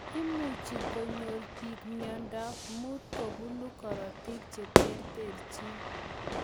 Imuchuu konyor piik miondop muut kobunuu korotik cheterterchin.